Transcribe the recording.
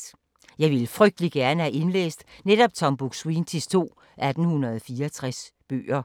Jeg ville frygtelig gerne have indlæst netop Tom Buk-Swientys to 1864-bøger.